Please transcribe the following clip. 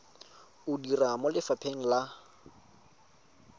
o dira mo lefapheng la